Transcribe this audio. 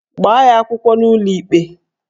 Gbaa ya akwụkwọ n'ụlọikpe!